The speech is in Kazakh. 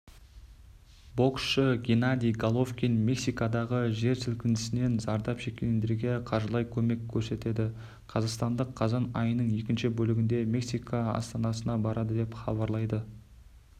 боксшы геннадий головкин мексикадағы жер сілкінісінен зардап шеккендерге қаржылай көмек көрсетеді қазақстандық қазан айының екінші бөлігінде мексика астанасына барады деп хабарлайды